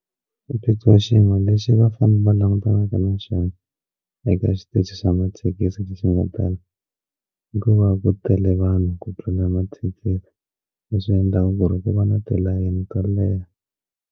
Xiphiqo xin'we lexi vafanele va langutanaka na xona eka xitichi xa mathekisi xin'we tala hikuva ku tele vanhu ku tlula mathekisi leswi endlaka ku va na tilayini to leha.